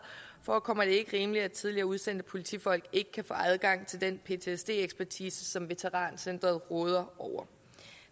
forekommer det ikke rimeligt at tidligere udsendte politifolk ikke kan få adgang til den ptsd ekspertise som veterancentret råder over